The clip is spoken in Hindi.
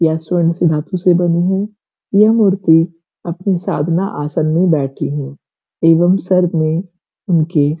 या स्वर्ण से धातु से बनी है। यह मूर्ति अपनी साधना आसन में बैठीं है एवम सर में उनके --